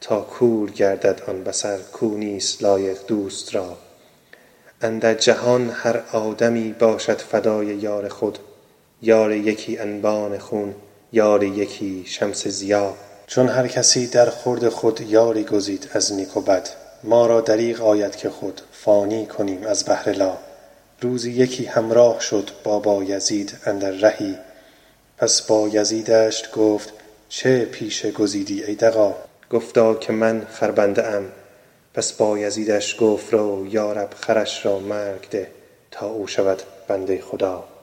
تا کور گردد آن بصر کو نیست لایق دوست را اندر جهان هر آدمی باشد فدای یار خود یار یکی انبان خون یار یکی شمس ضیا چون هر کسی درخورد خود یاری گزید از نیک و بد ما را دریغ آید که خود فانی کنیم از بهر لا روزی یکی همراه شد با بایزید اندر رهی پس بایزیدش گفت چه پیشه گزیدی ای دغا گفتا که من خربنده ام پس بایزیدش گفت رو یا رب خرش را مرگ ده تا او شود بنده خدا